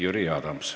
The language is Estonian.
Jüri Adams.